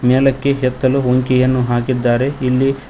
ಮ್ಯಾಲಕ್ಕೆ ಎತ್ತಲು ಹೊಂಕೆಯನ್ನು ಹಾಕಿದ್ದಾರೆ ಇಲ್ಲಿ--